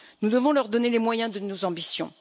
Nous devons leur donner les moyens de nos ambitions.